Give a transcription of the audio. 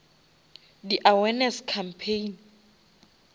di awareness campaign